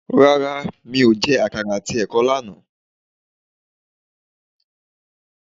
Rárá, mi o jẹ àkàrà àti ẹ̀kọ lánàá